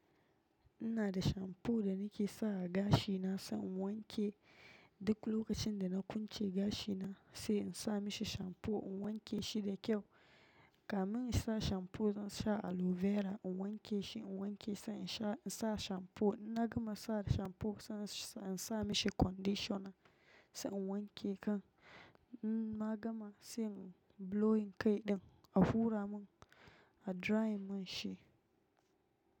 In na da shamfu da ni ke sa a gashi na, sai in wanke duk lokacin da na kunce gashi na, sai in sa mishi shamfu, in wanke shi da kyau, kamin in sa shamfu zan sha aloe vera, in wanke shi, in wanke sai in sha, in sa shamfu. Na gama sa shamfu, sai in sa mishi conditioner sai in wanke kan in na gama sai in blowing kai ɗin, a hura mun, a dry mun shi.